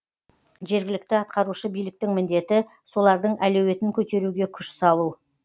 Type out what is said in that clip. жергілікті атқарушы биліктің міндеті солардың әлеуетін көтеруге күш салу